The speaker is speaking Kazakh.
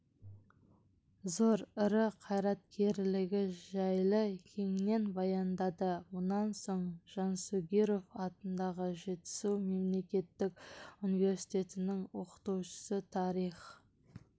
зор ірі қайраткерлігі жайлы кеңінен баяндады мұнан соң жансүгіров атындағы жетісу мемлекеттік университетінің оқытушысы тарих